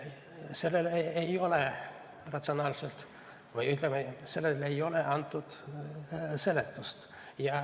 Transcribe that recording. Sellele ei ole antud seletust.